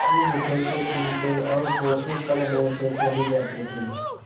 खूब उछलतेकूदते और कोसों तक दौड़ते चले जाते थे